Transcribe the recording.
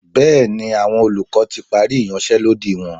Bẹ́ẹ̀ni, àwọn olùkọ́ ti parí ìyanṣẹ́lódì wọn.